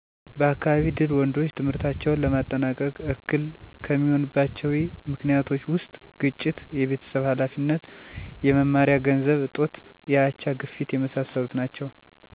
በአካባቢ ድል ወንዶች ትምህርታቸውን ለማጠናቀቅ እክል ከሚሆኑባቸዊ ምክኒቶች ውስጥ ግጭት፣ የቤተሰብ ሀላፊነት፣ የመማሪያ ገንዘብ እጦት፣ የአቻ፣ ግፊት የመሣሠሉት ናቸው።